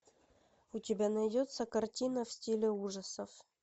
у тебя найдется картина в стиле ужасов